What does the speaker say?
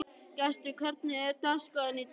Gestur, hvernig er dagskráin í dag?